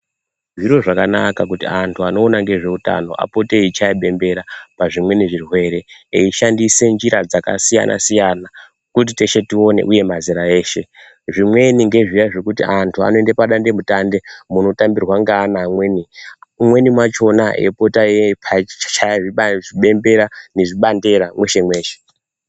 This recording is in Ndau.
Zviro zvakanaka kuti antu anoona ngezveutano apote eichaye bembera pazvimweni zvirwere eishandise nzira dzakasiyana siyana kuti teshe tione uye mazera eshe zvimweni ngezviya zvekuti antu anoende padande mutande munotambirwa ngeana amweni Umwrni mwavhona eipota eiba chichaye bembera nezvibandera mweshe mweshe.